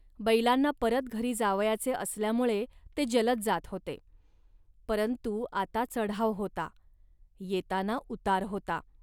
बैलांना परत घरी जावयाचे असल्यामुळे ते जलद जात होते. परंतु आता चढाव होता, येताना उतार होता